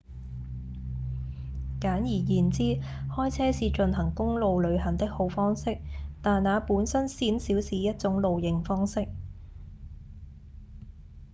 簡而言之開車是進行公路旅行的好方式但那本身鮮少是一種「露營」方式